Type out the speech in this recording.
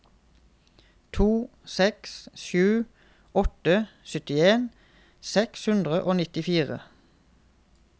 to seks sju åtte syttien seks hundre og nittifire